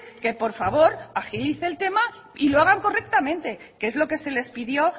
que por favor agilice el tema y lo hagan correctamente que es lo que se les pidió